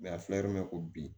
a filɛ yɔrɔ min na ko bi